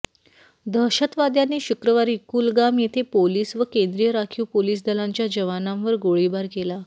दहशतवाद्यांनी शुक्रवारी कुलगाम येथे पोलीस व केंद्रीय राखीव पोलीस दलांच्या जवानांवर गोळीबार केला